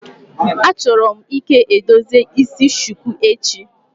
Achọrọ m ike edozi isi shuku echi.